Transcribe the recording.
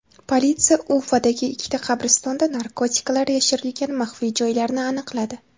Politsiya Ufadagi ikkita qabristonda narkotiklar yashirilgan maxfiy joylarni aniqladi.